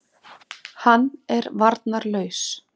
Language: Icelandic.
Hann er varnarlaus.